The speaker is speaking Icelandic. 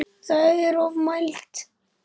Það er ofmælt.